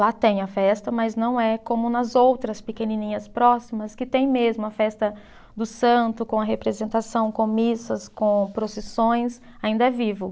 Lá tem a festa, mas não é como nas outras pequenininhas próximas, que tem mesmo a festa do santo, com a representação, com missas, com procissões, ainda é vivo.